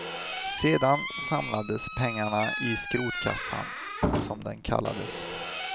Sedan samlades pengarna i skrotkassan, som den kallades.